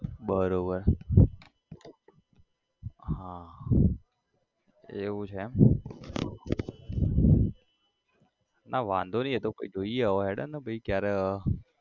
બરોબર હા એવું છે એમ ના વાંધો નઈ એતો કઈક જોઈએ હવે હેડો ને પહી ક્યારે